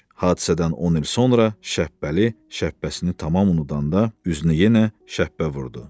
Hadisədən 10 il sonra Şəppəli şəppəsini tamam unudanda, üzünə yenə şəppə vurdu.